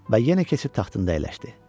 Və yenə keçib taxtında əyləşdi.